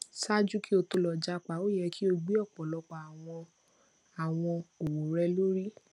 ṣaaju ki o to lọ japa o yẹ ki o gbe ọpọlọpọ awọn awọn owo rẹ lori